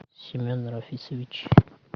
семен рафисович